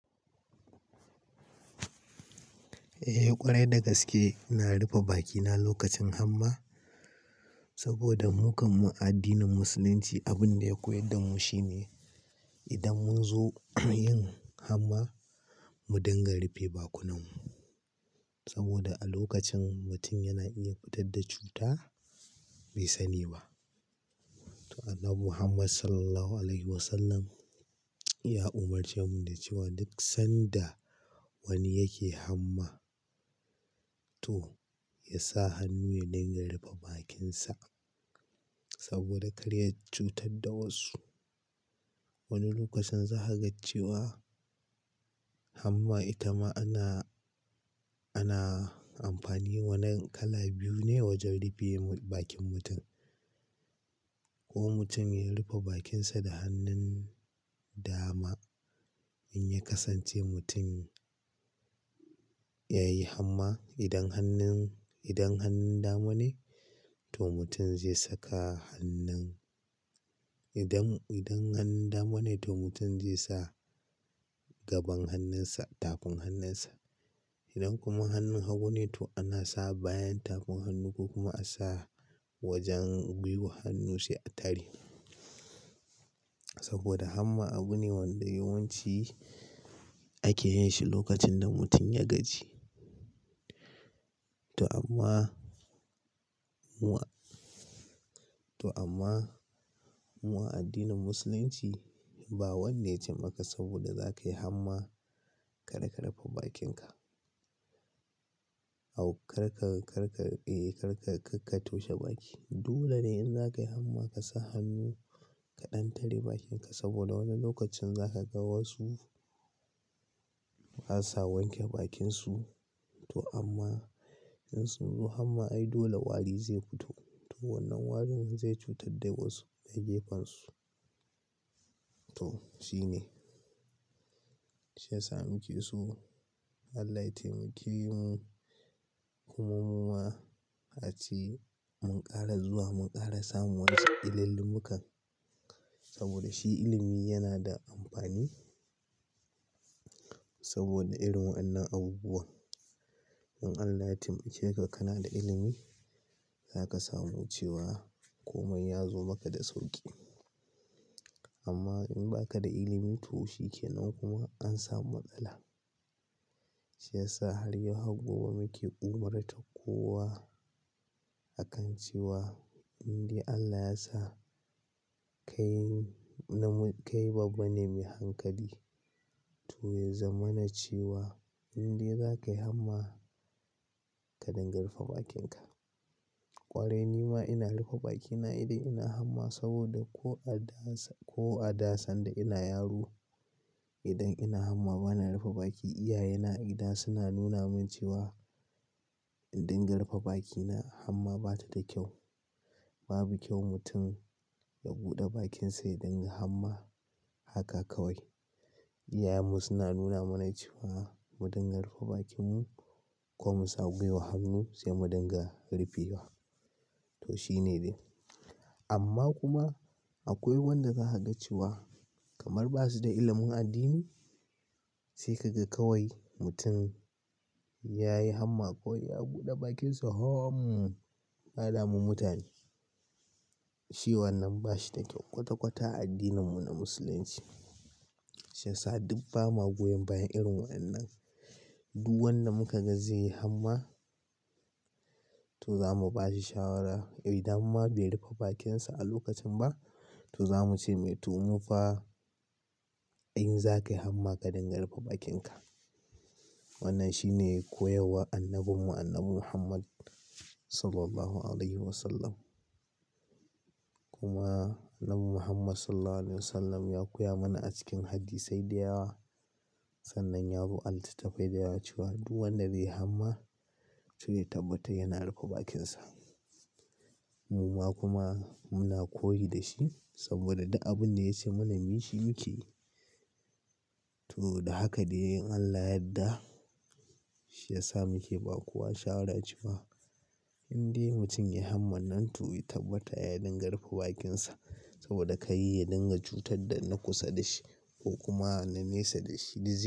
Eh ƙwarai dagaske ina rufe bakina lokacin hamma saboda hukuman addinin musulunci. Abin da ya koyar damu shine idan mun zo yin hamma mu dinga rufe bakunanmu saboda a lokacin mutum yana iya fitar da cuta bai sani ba. To Annabi Muhammad Sallallahu Alaihi Wasallam ya umarce mu da cewa duk sanda wani yake hamma to ya sa hannu ya dinga rufe bakinsa saboda kar ya cutar da wasu. Wani lokacin za ka ga cewa hamma ita ma ana, ana amfani wannan kala biyu ne wajen rufe bakin mutum. Ko mutum ya rufe bakinsa da hannun dama in ya kasance mutum ya yi hamma idan hannun, idan hannun dama ne to mutum zai saka hannun. Idan, idan hannun dama ne to mutum zai sa gaban hannunsa tafin hannunsa. Idan kuma hannun hagu ne to ana sa bayan tafin hannu ko kuma a sa wajen gwiwar hannu sai a tare. Saboda hamma abu ne wanda yawanci ake yinshi lokacin da mutum ya gaji. To amma mu a, to amma mu a addinin musulunci ba wanda yace maka saboda za kayi hamma kar ka rufe bakinka. A karka, karka eh karka, karka toshe baki. Dole ne in za ka yi hamma ka sa hannu ka ɗan tare bakinka saboda wani lokacin za ka ga wasu ba sa wanke bakinsu to amma in sun zo hamma ai dole wari zai fito. To wannan warin zai cutar da wasu da gefansu. To shine shi yasa muke so Allah ya taimake mu, kuma mu ma a ce mun ƙara zuwa mun ƙara samun wasu illin limukan saboda shi ilimi yana da amfani saboda irin wadannan abubuwan. In Allah ya taimake ka, kana da ilimi za ka samu cewa komai ya zo maka da sauƙi. Amma in baka da ilimi to shi ke nan kuma an samu matsala. Shi yasa har yau har gobe muke umurtar kowa a kan cewa in dai Allah ya sa kai, kai babba ne mai hankali to ya zama na cewa in dai za ka yi hamma ka dinga rufe bakinka. Ƙwarai ni ma ina rufe bakina idan ina hamma saboda ko a da, ko a dasan da ina yaro idan ina hamma bana rufe baki. Iyaye na a gida suna nuna min cewa in dinga rufe bakina hamma bata da kyau. Babu kyau mutum ya buɗe bakinsa idan yai hamma. Haka kawai iyayenmu suna nuna mana cewa mu dinga rufe bakinmu ko mu sa gwiwar hannu sai mu dinga rufewa to shine dai. Amma kuma akwai wanda za ka ga cewa kamar basu da ilimin addini sai ka ga kawai mutum ya yi hamma ko ya buɗe bakinsa. Haaum! Ka da mu mutane. Shi wannan ba shi da kyau kwata kwata a addininmu na musulunci. Shi yasa duk ba ma goyon bayan irin wadannan. Duk wanda muka ga zai yi hamma to za mu ba shi shawara. Idan ma bai rufe bakinsa a lokacin ba to za mu ce mai to mu fa in za ka yi hamma ka dinga rufe bakinka. Wannan shi ne koyarwar annabinmu Annabi Muhammad Sallallahu Alaihi Wasallam. Kuma Annabi Muhammad Sallallahu Alaihi Wasallam ya koya mana a cikin Hadi sai da yawa. Sannan yazo A littatta fai da ya cewa duk wanda bai yi hamma to ya tabbata yana rufe bakinsa. Mu ma kuma muna koyi da shi saboda duk abin da ya ce mana muyi shi muke yi. To da haka dai in Allah yadda shi ya sa muke ba kuwa shawara jama, a. In dai mutum ya hamma nan to ya tabbata ya dinga rufe bakinsa saboda kar ya dinga cutar da na kusa da shi ko kuma na nesa da shi duk.